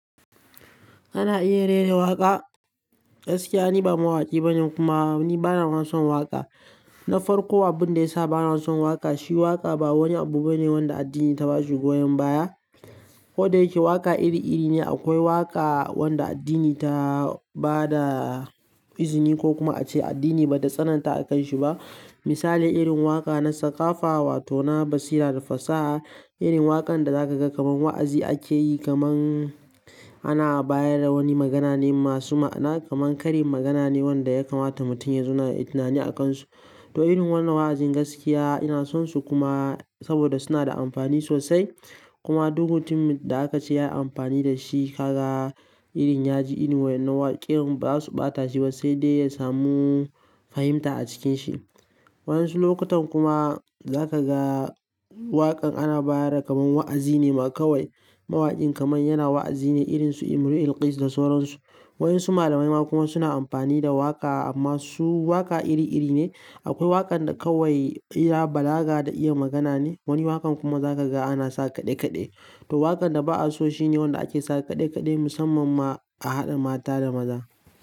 Kana iya rera waƙa? Gaskiya ni ba mawaƙi bane kuma ni bana ma son waƙa. Na farko abin da ya sa bana son waƙa shi waƙa ba wani abu bane wanda addini ta ba shi goyon baya. Koda yake waƙa iri iri ne akwai waƙa wanda addini ta ba da izini ko kuma ace addini bata tsananta a kan shi ba. Misali irin waƙa na sakafa wato na basira da fasaha. Irin waƙan da zaka ga kamar wa'azi ake yi kamar ana bayar da wani magana ne masu ma'ana kamar kari magana ne wanda ya kamata mutum ya zauna yayi tunani a kan su. To irin wannan wa'azin gaskiya ina sonsu kuma saboda suna da amfani sosai. Kuma duk mutum da aka ce ya yi amfani da shi ka ga irin ya ji irin wannan waƙin ba su ɓata shi ba sai dai ya samu fahimta a cikin shi. Waɗansu lokutan kuma za ka ga waƙan ana bayar da kamar wa'azi ne ma kawai. Mawaƙin kamar yana wa'azi ne irinsu Imrul Qais da sauransu. Waɗansu malamai ma kuma suna amfani da waƙa amma su waƙa iri iri ne. Akwai waƙan da kawai iya balaga da iya magana ne. Wani waƙan kuma za ka ga ana sa kaɗe kaɗe. To waƙan da ba'a so shine wanda ake sa kaɗe kaɗe musamman ma a haɗa mata da maza.